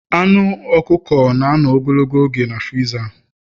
Anu ọkụkọ na-anọ ogologo oge na friza